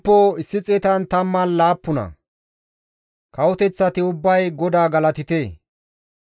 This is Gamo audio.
Kawoteththati ubbay GODAA galatite! Ubba asay iza galatan sabbite!